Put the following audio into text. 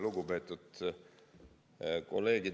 Lugupeetud kolleegid!